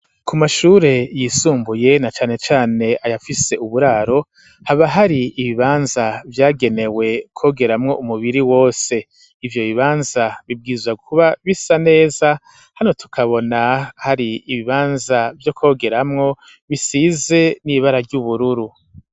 Ku mashure yisumbuye, na cane cane ayafise uburaro, haba hari ibibanza vyagenewe kwogeramwo umubiri wose; ivyo bibanza bibwirizwa kuba bisa neza, hano tukabona hari ibibanza vyo kwogeramwo, bisize n'ibara ry'ubururu.